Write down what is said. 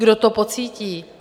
Kdo to pocítí?